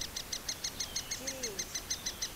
киреевск